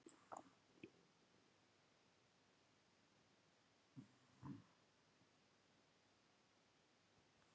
þetta sýnir að húskonur hafa verið talsvert fleiri en húsmenn